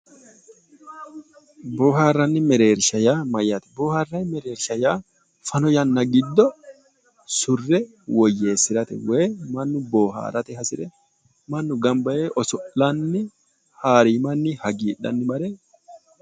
Bohaaranni mereerisha yaa Mayyaate? Boharayi mereerisha yaa fano yanna giddo surre woyyeesirate woyi mannu booharate hasire ganibba yee oso'lanni haariimanni hagiidhanni mare